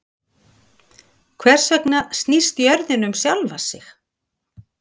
Hvers vegna snýst jörðin um sjálfa sig?